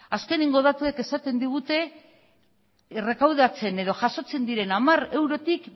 azkeneko datuek esaten digute errekaudatzen edo jasotzen diren hamar eurotik